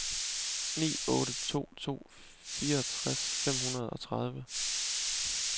ni otte to to fireogtres fem hundrede og tredive